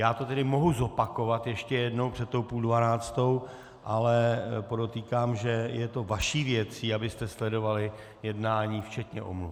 Já to tedy mohu zopakovat ještě jednou před tou půl dvanáctou, ale podotýkám, že je to vaší věcí, abyste sledovali jednání včetně omluv.